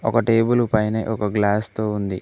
ఒక టేబులు పైనె ఒక గ్లాస్ తో ఉంది.